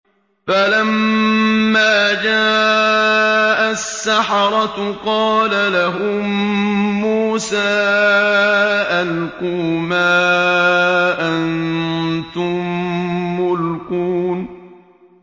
فَلَمَّا جَاءَ السَّحَرَةُ قَالَ لَهُم مُّوسَىٰ أَلْقُوا مَا أَنتُم مُّلْقُونَ